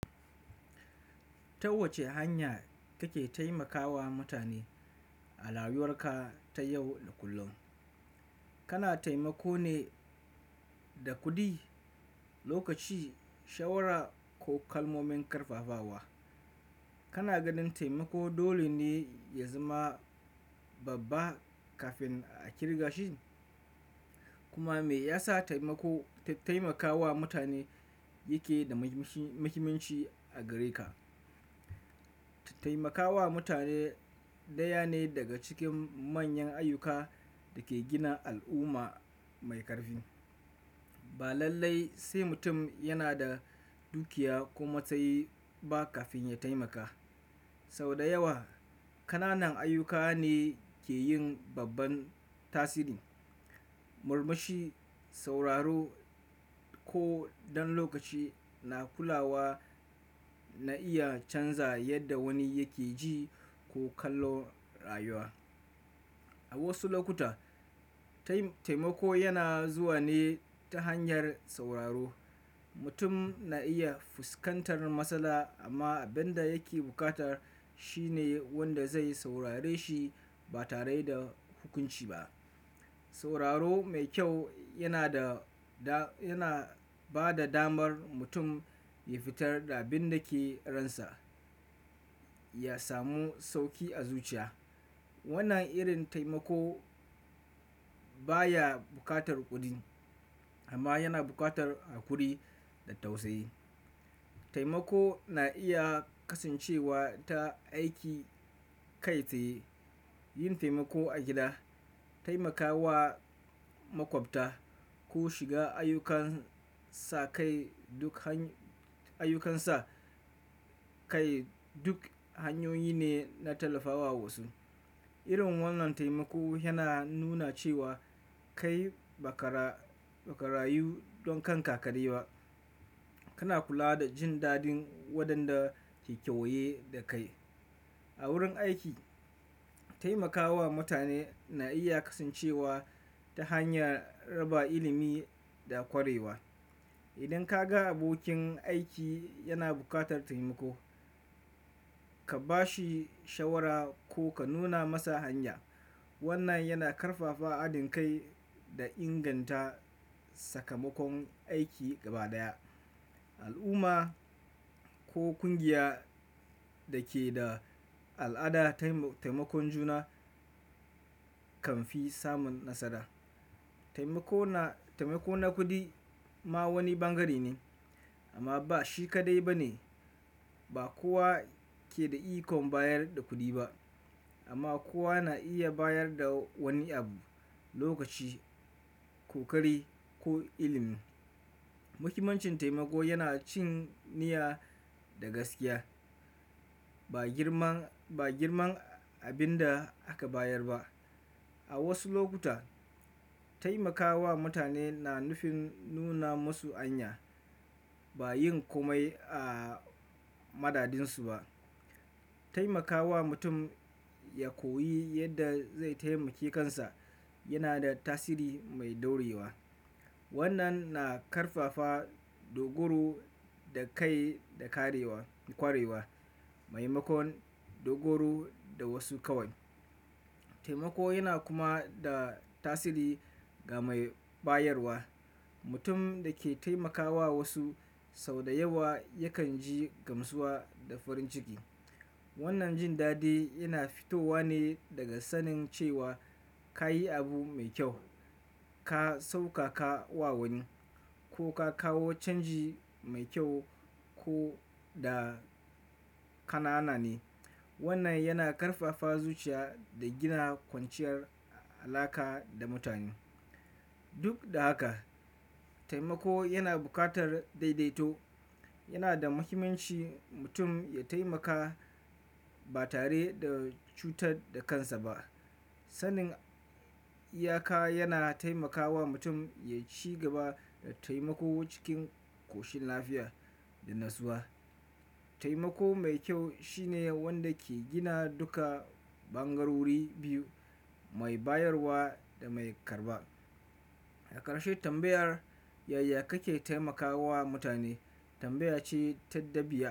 Ta wace hanya kake taimakawa mutane a rayuwar ka ta yau da kullum? Kana taimako ne da kuɗi, lokaci, shawara ko kalmomin karfafawa? Kana ganin taimako dole ne ya zama babba kafin a kirga shi? Kuma me yasa taimako, taimakawa mutane yake da muhimanci a gare ka? Taimakawa mutane ɗaya ne daga cikin manyan ayyuka da ke gina al'umma mai ƙarfi. Ba lallai sai mutum yana da dukiya ko matsayi ba kafin ya taimaka. Sau da yawa, ƙananan ayyuka ne ke yin babban tasiri. Murmushi, sauraro ko ɗan lokaci na kulawa na iya canza yadda wani yake ji ko kallo rayuwa. A wasu lokuta, taimako yana zuwa ne ta hanyar sauraro. Mutum na iya fuskantar matsala amma abin da yake bukata shine wanda zai saurare shi ba tare da hukunci ba. Sauraro mai kyau yana da, yana ba da damar mutum ya fitar da abin da ke ransa ya samu sauki a zuciya. Wannan irin taimako baya buƙatar kuɗi amma yana buƙatar hakuri da tausayi. Taimako na iya kasancewa ta aiki kai tsaye, yin taimako a gida, taimakawa makwabta ko shiga ayyukansa kai, ayyukansa kai duk hanyoyi ne na tallafawa wasu. Irin wannan taimako yana nuna cewa kai ba ka, ba ka rayu don kan ka kaɗai ba. Kana kula da jin dadin waɗanda ke kewaye da kai. A wurin aiki, taimakawa mutane na iya kasancewa ta hanyar raba ilimi da ƙwarewa. Idan ka ga abokin aiki yana buƙatar taimako, ka ba shi shawara ko ka nuna masa hanya. Wannan yana ƙarfafa haɗin kai da inganta sakamakon aiki gaba ɗaya. Al'umma ko ƙungiya da ke da al'adar taimakon juna kan fi samun nasara. Taimako na, taimako na kuɗi ma wani bangare ne amma ba shi kaɗai ba ne. Ba kowa ke da iko bayar da kuɗi ba amma kowa na iya bayar da wani abu, lokaci, kokari ko ilimi. Muhimmancin taimako yana cin niyya da gaskiya, ba girman, ba girman abin da aka bayar ba. A wasu lokuta, taimakawa mutane na nufin nuna musu hanya, ba yin komai a madadinsu ba. Taimakawa mutum ya koyi yadda zai taimake kansa yana da tasiri mai daurewa. Wannan na ƙarfafa dogaro da kai da karewa, ƙwarewa, maimakon dogaro da wasu kawai. Taimako yana kuma da tasiri ga mai bayarwa. Mutum da ke taimakawa wasu sau da yawa yakan ji gamsuwa da farin ciki. Wannan jin dadi yana fitowa ne daga sanin cewa ka yi abu mai kyau, ka sauƙaƙa wa wani ko ka kawo canji mai kyau ko da ƙanana ne. Wannan yana ƙarfafa zuciya da gina kwanciyar alaƙa da mutane. Duk da haka, taimako yana buƙatar daidaito. Yana da muhimmanci mutum ya taimaka ba tare da cutar da kansa ba. Sanin iyaka yana taimakawa mutum ya ci gaba da taimako cikin ƙoshin lafiya da natsuwa. Taimako mai kyau shine wanda ke gina duka bangarori biyu, mai bayarwa da mai karɓa. Akarshe tambayar yaya kake taimakawa mutane tambaya ce ta dabi'a.